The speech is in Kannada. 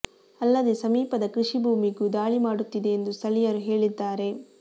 ಅಲ್ಲದೆ ಸಮೀಪದ ಕೃಷಿ ಭೂಮಿಗೂ ದಾಳಿ ಮಾಡುತ್ತಿದೆ ಎಂದು ಸ್ಥಳೀಯರು ಹೇಳಿದ್ದಾರೆ